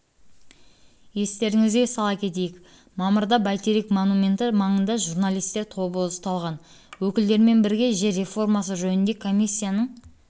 естеріңізге сала кетейік мамырда бәйтерек монументі маңында журналисттер тобы ұсталған өкілдерімен бірге жер реформасы жөніндегі комиссияның